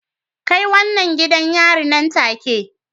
Kai wannan gidan yari nan take